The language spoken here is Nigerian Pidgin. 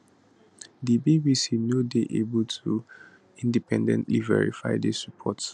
di bbc no dey able to independently verify dis reports